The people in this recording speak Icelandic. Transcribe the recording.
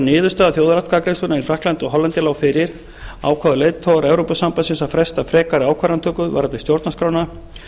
niðurstaða þjóðaratkvæðagreiðslunnar í frakklandi og hollandi lá fyrir ákváðu leiðtogar evrópusambandsins að fresta frekari ákvarðanatöku varðandi stjórnarskrána